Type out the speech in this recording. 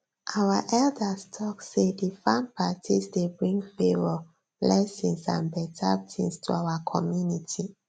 our elders talk say di farm parties dey bring favour blessings and better things to our community